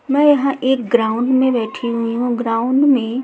मैं यहाँ एक ग्राउंड में बैठी हुई हूं ग्राउंड में --